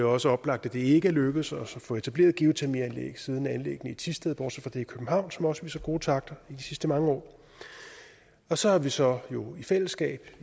også oplagt at det ikke er lykkedes os at få etableret geotermianlæg siden anlæggene i thisted bortset fra det i københavn som også gode takter i de sidste mange år så har vi så i fællesskab